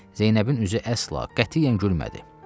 Zeynəbin üzü əsla, qətiyyən gülmədi.